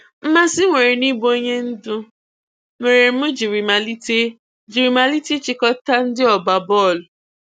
Mmasị m nwere n'ịbụ onyendu mere m jiri malite jiri malite ịchịkọta ndị ọgba bọọlụ.